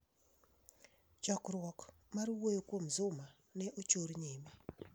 Chokruok mar wuoyo kuom Zuma ne ochor nyime